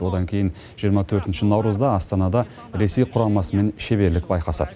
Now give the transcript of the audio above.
одан кейін жиырма төртінші наурызда астанада ресей құрамасымен шеберлік байқасады